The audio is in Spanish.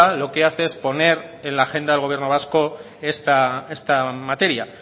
lo que hace es poner en la agenda del gobierno vasco esta materia